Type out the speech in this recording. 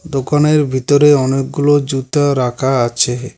দোকানের ভিতরে অনেকগুলো জুতা রাখা আছে।